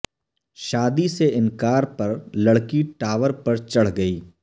شادی سے انکار پر لڑکی ٹاور پر چڑھ گئی